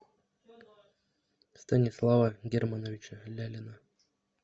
станислава германовича лялина